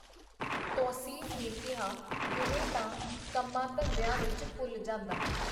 ਤੌਸੀਫ਼ ਨੇ ਕੀਹਾ, ਦਿਨੇ ਤਾਂ ਕੰਮਾਂ-ਧੰਦੀਆਂ ਵਿੱਚ ਭੁੱਲ ਜਾਂਦਾ.